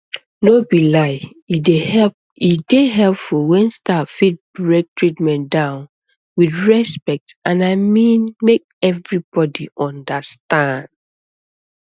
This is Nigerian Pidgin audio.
no be lie e dey helpful when staff fit break treatment down with respect i mean make everybody understand